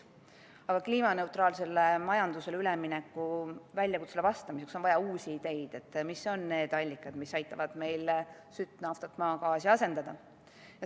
Aga kliimaneutraalsele majandusele ülemineku väljakutsele vastamiseks on vaja uusi ideid, mis on need allikad, millega me saame sütt, naftat ja maagaasi asendada.